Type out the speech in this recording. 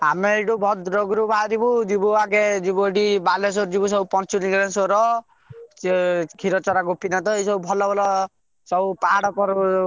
ଆମେ ଏଇଠୁ ଭଦ୍ରକରୁ ବାହାରିବୁ ଯିବୁ ଆଗେ ଯିବୁ ଏଇଠୁ ବାଲେଶ୍ବର ଯିବୁ ସବୁ ପଞ୍ଚଲିଙ୍ଗେଶ୍ଵର ଏ ସେ କ୍ଷୀରଚରା ଗୋପୀନାଥ ଏଇ ସବୁ ଭଲ ଭଲ ସବୁ ପାହାଡ।